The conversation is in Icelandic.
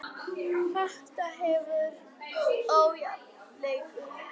Þetta hefur verið ójafn leikur.